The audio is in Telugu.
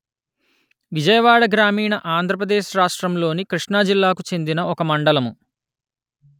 విజయవాడ గ్రామీణ ఆంధ్ర ప్రదేశ్ రాష్ట్రములోని కృష్ణా జిల్లాకు చెందిన ఒక మండలము